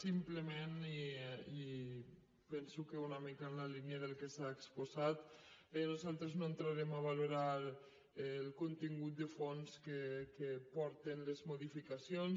simplement i penso que una mica en la línia del que s’ha exposat bé nosaltres no entrarem a valorar el contingut de fons que porten les modificacions